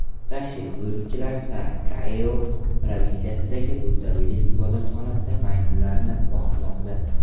Tashrif buyuruvchilar Sa Kaeo provinsiyasidagi buddaviylik ibodatxonasida maymunlarni boqmoqda.